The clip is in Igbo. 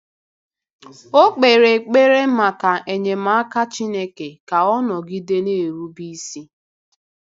O kpere ekpere maka enyemaka Chineke ka ọ nọgide na-erube isi.